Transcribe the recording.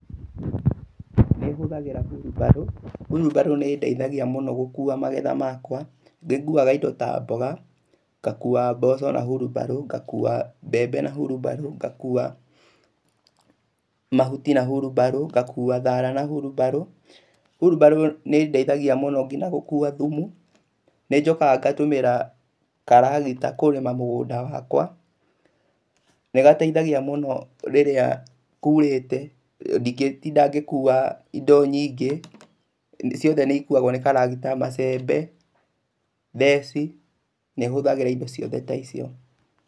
Nĩhũthagĩra hurumbarũ, hurumbarũ nĩ ĩndeithagia mũno gũkuua magetha makwa. Nĩnguaga indo ta mboga, ngakuua mboco na hurumbarũ, ngakuua mbembe na hurumbarũ, ngakuua mahuti na hurumbarũ, ngakuua thaara na hurumbarũ. Hurumbarũ nĩ ĩndeithagia mũno kinya gũkuua thumu. Nĩ njokaga ngatũmĩra karagita kũrĩma mũgũnda wakwa. Nĩgateithagia mũno rĩrĩa kuurĩte, ndingĩtinda ngĩkuua indo nyingĩ, ciothe nĩikuagwo nĩ karagita, macembe, theci, nĩhũthagĩra indo ciothe ta icio.